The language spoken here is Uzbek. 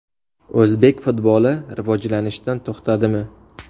O‘zbek futboli rivojlanishdan to‘xtadimi?